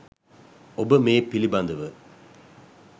ඔබ මේ පිළිබඳව